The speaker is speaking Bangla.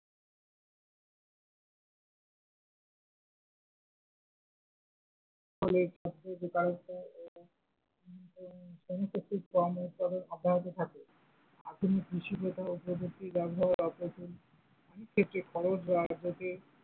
ফলে বেকারত্ব এবং অনুক্ষেত্রিক কম উৎপাদন অব্যহত থাকে, আধুনিক কৃষি প্রথা ও প্রযুক্তির অপ্রতিম অনেক ক্ষেত্রে খরচ ।